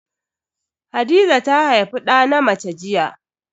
Hadiza ta haifi da na mace jiya.